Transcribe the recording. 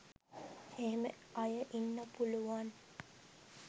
එහෙම අය ඉන්න පුළුවන්